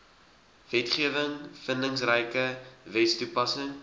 wetgewing vindingryke wetstoepassing